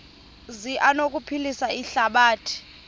zi anokuphilisa ihlabathi